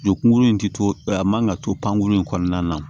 Jo kunkuruni ti to a man ka to pankurun in kɔnɔna na